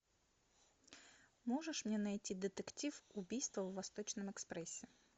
можешь мне найти детектив убийство в восточном экспрессе